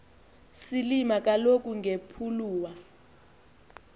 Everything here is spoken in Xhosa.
silima kaloku ngepuluwa